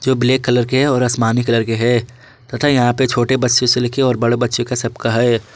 दो black colour के और आसमानी कलर के है तथा यहां पे छोटे बच्चों से लेके और बड़े बच्चे का सबका है।